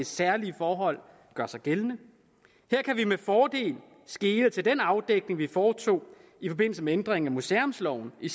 særlige forhold gør sig gældende her kan vi med fordel skele til den afdækning vi foretog i forbindelse med ændringen af museumsloven i